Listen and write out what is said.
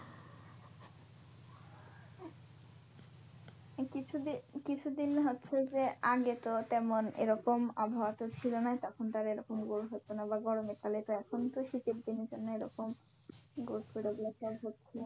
কিছু দিন কিছু দিন হচ্ছে যে আগে তো তেমন এরকম আবহাওয়া তো ছিল না তখন তো আর এরকম গরম হতো না বা গরমে কালে তো এখন তো শীতের জন্য এরকম হচ্ছে